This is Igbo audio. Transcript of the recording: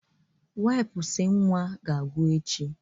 Wipụsụ nwa ga-agwụ echi.